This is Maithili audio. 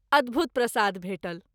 अद्भुत प्रसाद भेटल।